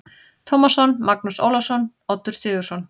Tómasson, Magnús Ólafsson, Oddur Sigurðsson